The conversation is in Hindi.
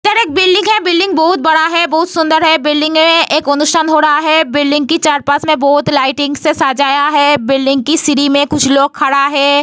इधर एक बिल्डिंग है। बिल्डिंग बहुत बड़ा है बहुत सुंदर है। बिल्डिंग में एक अनुष्ठान हो रहा है। बिल्डिंग की चार-पांच में बहुत लाइटिंग से सजाया हुआ है। बिल्डिंग की सीढ़ी में कुछ लोग खड़ा है।